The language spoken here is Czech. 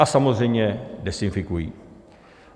A samozřejmě dezinfikují.